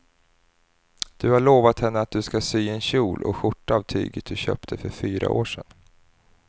Du har lovat henne att du ska sy en kjol och skjorta av tyget du köpte för fyra år sedan.